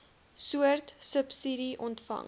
soort subsidie ontvang